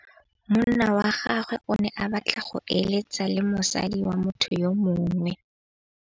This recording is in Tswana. Monna wa gagwe o ne a batla go êlêtsa le mosadi wa motho yo mongwe.